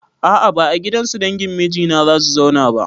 A a ba a gidansu dangin mijina zan zauna ba.